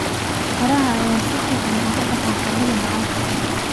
Qaraha ayaa si fiican uga baxa carrada bacaadka ah.